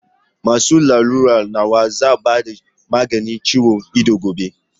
Masu lalura nawa za a ba maganin ciwon ido gobe?